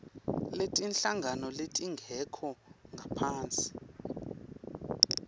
netinhlangano letingekho ngaphasi